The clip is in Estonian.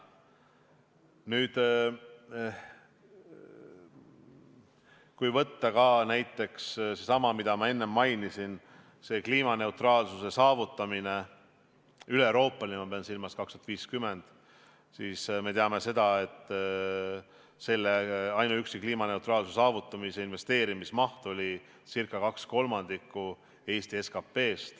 Nüüd, kui võtta näiteks seesama, mida ma enne mainisin, üleeuroopaline kliimaneutraalsuse saavutamine – ma pean silmas 2050. aasta eesmärki –, siis me teame, et ainuüksi kliimaneutraalsuse saavutamisega seotud investeerimismaht oli ca 2/3 Eesti SKP-st.